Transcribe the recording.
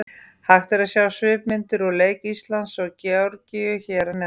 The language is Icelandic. Hægt er að sjá svipmyndir úr leik Íslands og Georgíu hér að neðan.